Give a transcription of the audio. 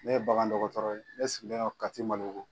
Ne ye bagan dɔgɔtɔrɔ ye ne sigilen no Kati Malibugu.